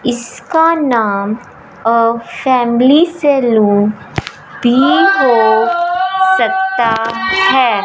इसका नाम अह फैमिली सैलून भी हो सकता है।